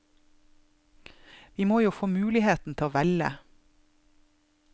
Vi må jo få muligheten til å velge.